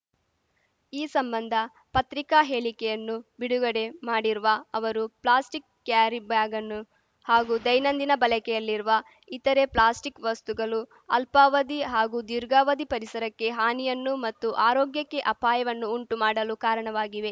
ಈ ಸಂಬಂಧ ಪತ್ರಿಕಾ ಹೇಳಿಕೆಯನ್ನು ಬಿಡುಗಡೆ ಮಾಡಿರುವ ಅವರು ಪ್ಲಾಸ್ಟಿಕ್‌ ಕ್ಯಾರಿಬ್ಯಾಗನ್ನು ಹಾಗೂ ದೈನಂದಿನ ಬಲಕೆಯಲ್ಲಿರುವ ಇತರೆ ಪ್ಲಾಸ್ಟಿಕ್‌ ವಸ್ತುಗಲು ಅಲ್ಪಾವಧಿ ಹಾಗೂ ದೀರ್ಘಾವಧಿ ಪರಿಸರಕ್ಕೆ ಹಾನಿಯನ್ನು ಮತ್ತು ಆರೋಗ್ಯಕ್ಕೆ ಅಪಾಯವನ್ನು ಉಂಟು ಮಾಡಲು ಕಾರಣವಾಗಿವೆ